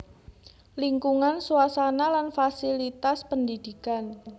Lingkungan suasana lan fasilitas pendidikan